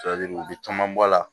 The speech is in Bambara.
u bɛ caman bɔ a la